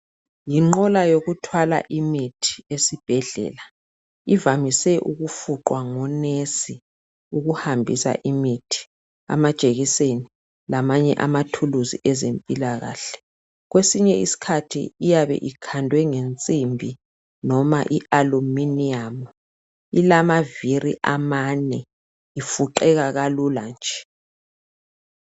Yinqola yokuthwala imithi esibhedlela ivamise ukufuqwa ngomongikazi ukuhambisa imithi amajekiseni lamanye amathuluzi ezempilakahle kwesinye isikhathi iyabe ikhandwe ngensimbi loba i aluminum ilamavili amane ifuqeka kalula nje.